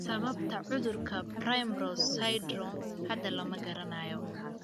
Sababta cudurka 'primrose syndromke hadda lama garanayo.